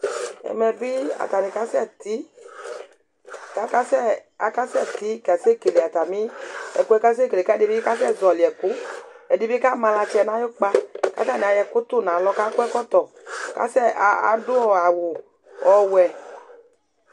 ẽmẽbi ɑtɑŋikɑsɛti ɑsɛti kɑsɛkɛlé ɑtɑmiɛ ɛkụé kɑdiɲikɑsé zɔ̀ölikụ ɛɗiɲikɑmɑɲɑtsɛ ɲɑyũkpɑ kɑtɑɲiɑyó ɛkụtʊɲɑlɔ kɑkɔ ɛkọɛkọtɔ ɑɗụ ɑwʊ ɔwụɛ